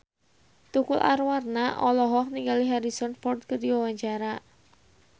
Tukul Arwana olohok ningali Harrison Ford keur diwawancara